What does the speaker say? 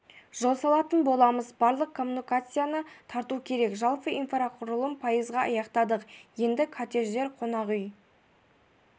жол салатын боламыз барлық коммуникацияны тарту керек жалпы инфрақұрылымын пайызға аяқтадық енді коттеджер қонақ үй